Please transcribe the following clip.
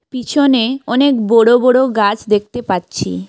পিছনে অনেক বোড়ো বোড়ো গাছ দেখতে পাচ্ছি।